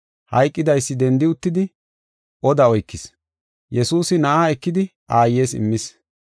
Hayqidaysi dendi uttidi oda oykis. Yesuusi na7aa ekidi aayes immis.